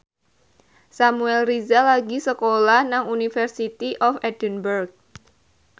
Samuel Rizal lagi sekolah nang University of Edinburgh